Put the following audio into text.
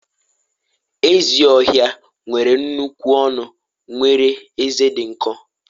ezi ohia nwere nnukwu ọnụ nwere ezé dị nkọ